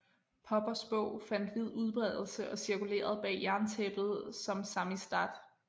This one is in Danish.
Poppers bog fandt vid udbredelse og cirkulerede bag jerntæppet som samizdat